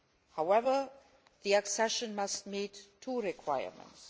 However, the accession must meet two requirements.